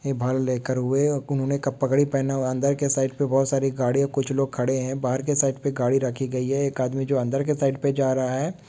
ये लेकर हुए हे उन्होंने क पगड़ी पहना हुआ हे अंदर के साइड पर बहोत सारी गाड़िया कुछ लोग खड़े हे बाहर के साइड पे गाड़ी रखी गई हे एक आदमी जो अंदर के साइड पे जा रहा हे--